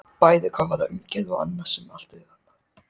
Bæði hvað varðar umgjörð og annað sem er allt annað.